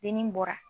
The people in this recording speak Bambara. Dimi bɔra